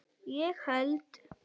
ég held